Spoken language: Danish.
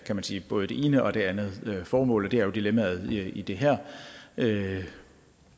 kan sige både det ene og det andet formål det er jo dilemmaet i det her